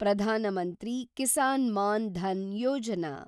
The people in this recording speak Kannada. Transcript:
ಪ್ರಧಾನ ಮಂತ್ರಿ ಕಿಸಾನ್ ಮಾನ್ ಧನ್ ಯೋಜನಾ